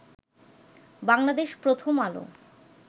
Bangladesh Prothom Alo